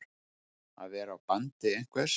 Að vera á bandi einhvers